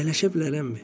Əyləşə bilərəmmi?